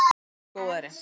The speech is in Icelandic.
En nú er góðæri.